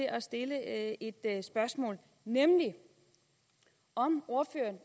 at stille et spørgsmål nemlig om ordføreren